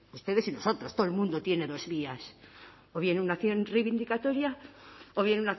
ustedes y nosotros todo el mundo tiene dos vías o bien una acción reivindicatoria o bien